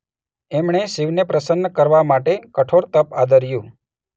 એમણે શિવને પ્રસન્ન કરવા માટે કઠોર તપ આદર્યું.